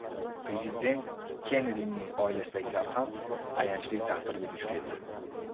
Prezident Kennedining oilasidagilar ham ayanchli taqdirga duch keldi.